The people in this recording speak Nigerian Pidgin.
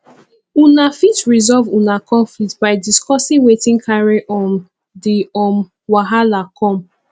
una fit resolve una conflict by discussing wetin carry um di um wahala come